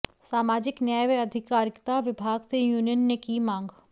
सामाजिक न्याय व आधिकारिता विभाग से यूनियन ने की मांग